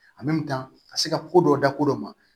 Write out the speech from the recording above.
ka se ka ko dɔ dabɔ dɔ ma